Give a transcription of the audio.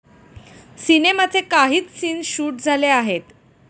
सिनेमाचे काहीच scenes shoot झाले आहेत.